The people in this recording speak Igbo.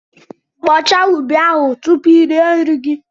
Kpochaa ubi ahụ tupu i rie nri gị!